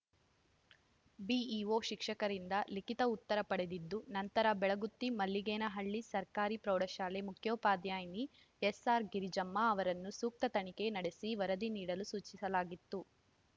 BEO ಶಿಕ್ಷಕರಿಂದ ಲಿಖಿತ ಉತ್ತರ ಪಡೆದಿದ್ದು ನಂತರ ಬೆಳಗುತ್ತಿ ಮಲ್ಲಿಗೇನಹಳ್ಳಿ ಸರ್ಕಾರಿ ಪ್ರೌಢಶಾಲೆ ಮುಖ್ಯೋಪಾಧ್ಯಾಯಿನಿ ಎಸ್‌ಆರ್‌ಗಿರಿಜಮ್ಮ ಅವರನ್ನು ಸೂಕ್ತ ತನಿಖೆ ನಡೆಸಿ ವರದಿ ನೀಡಲು ಸೂಚಿಸಲಾಗಿತ್ತು